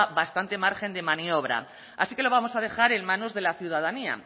bastante margen de maniobra así que lo vamos a dejar en manos de la ciudadanía